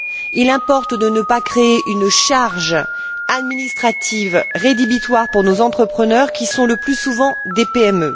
Il importe de ne pas créer une charge administrative rédhibitoire pour nos entrepreneurs, qui sont le plus souvent des PME.